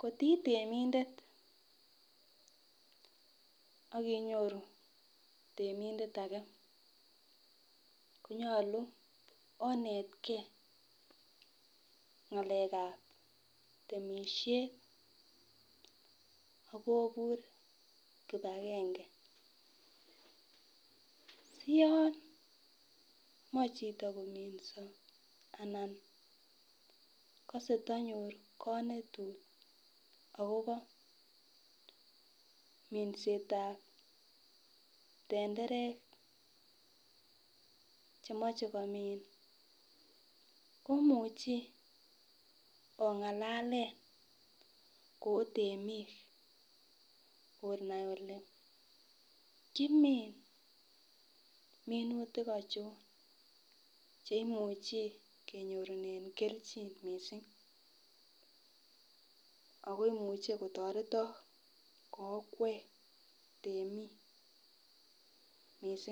koitemindet ak inyoru temindet age konyolu onetgee ngalekab temishet akobur kipagenge siyon moi chito kominso ana kose tonyor konetut akobo mindetab tenderek chemoche komin komuchi ongalale ko otemik ole kimin minutik ochon cheimuchi kenyorune keljin missing ako imuche kotoretok ko okwek temik missing .